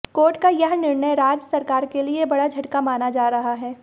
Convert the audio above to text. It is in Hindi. कोर्ट का यह निर्णय राज्य सरकार के लिए बड़ा झटका माना जा रहा है